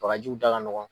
Bagajiw da ka nɔgɔn